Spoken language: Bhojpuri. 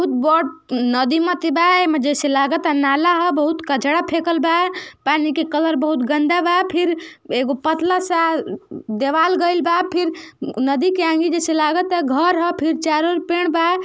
बट नदीमती बा। एमे जइसे लागता नाला ह। बहुत कचरा फेकल बा। पानी के कलर बहुत गंदा बा। फिर एगो पतला सा देवाल गइल बा। फिर नदी आणि जइसे लागता घर ह। फिर चारों ओर फेड़ बा।